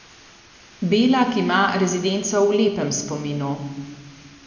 Belak ima rezidenco v lepem spominu.